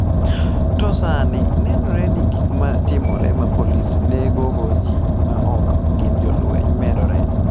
To sani, nenore ni gik ma timore ma polis negogo ji ma ok gin jolweny medore.